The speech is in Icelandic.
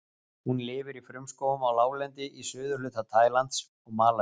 Hún lifir í frumskógum á láglendi í suðurhluta Tælands og Malasíu.